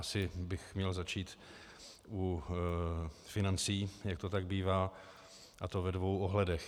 Asi bych měl začít u financí, jak to tak bývá, a to ve dvou ohledech.